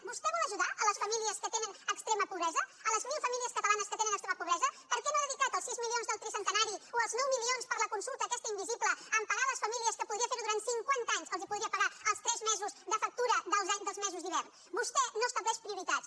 vostè vol ajudar les famílies que tenen extrema pobresa a les mil famílies catalanes que tenen extrema pobresa per què no ha dedicat els sis milions del tricentenari o els nou milions per a la consulta aquesta invisible a pagar a les famílies que podria ferho durant cinquanta anys els podria pagar els tres mesos de factura dels mesos d’hivern vostè no estableix prioritats